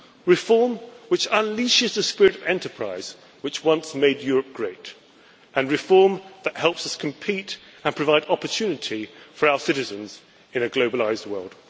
Reform which unleashes the spirit of enterprise which once made Europe great. And reform that helps us compete and provide opportunities for our citizens in a globalised world.